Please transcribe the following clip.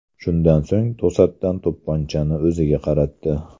Shundan so‘ng to‘satdan to‘pponchani o‘ziga qaratdi.